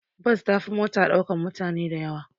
Bas ta fi mota ɗaukan mutane dayawa